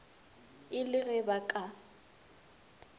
e le ge ba ka